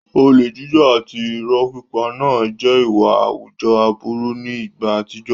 Olè jíjà àti ìrọ́ pípa náà jẹ́ ìwà àwùjọ aburú ní ìgbà àtijọ́.